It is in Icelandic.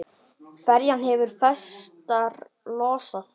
Ferjan hefur festar losað.